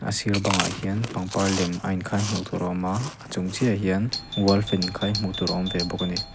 sir bangah hian pangpar lem a inkhai hmuh tur a awm a a chung chiahah hian wall fan inkhai hmuh tur a awm ve bawk a ni.